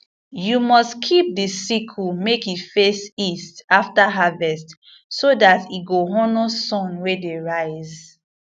you must keep the sickle make e face east after harvest so that e go honor sun wey dey rise